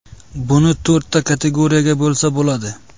Buni to‘rtta kategoriyaga bo‘lsa bo‘ladi.